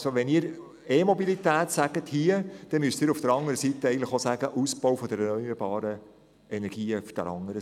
Wenn Sie hier Ja zur E-Mobilität sagen, dann müssen Sie auf der anderen Seite den Ausbau von erneuerbaren Energien befürworten.